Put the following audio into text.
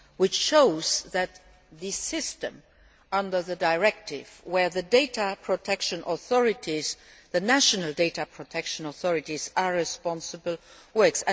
This shows that the system under the directive whereby the data protection authorities, the national data protection authorities, are responsible